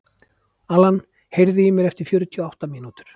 Alan, heyrðu í mér eftir fjörutíu og átta mínútur.